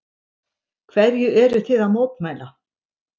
Hverju eruð þið að mótmæla?